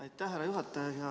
Aitäh, härra juhataja!